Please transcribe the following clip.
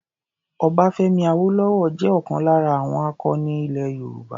Ọbáfẹ́mi Awólọ́wọ̀ jẹ́ ọlkan lára àwọn akọni ilẹ̀ Nàìjíríà.